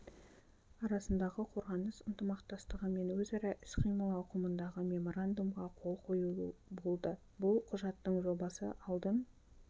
арасындағы қорғаныс ынтымақтастығы мен өзара іс-қимыл ауқымындағы меморандумға қол қою болды бұл құжаттың жобасы алдын